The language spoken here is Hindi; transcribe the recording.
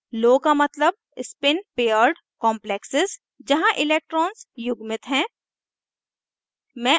low का मतलब spin पेयर्ड complexes जहाँ electrons युग्मित हैं